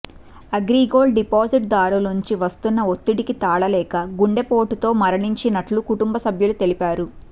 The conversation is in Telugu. అగ్రిగోల్డ్ డిపాజిట్దారుల నుంచి వస్తున్న ఒత్తిడికి తాళలేక గుండెపోటుతో మరణించినట్లు కుటుంబ సభ్యులు తెలిపారు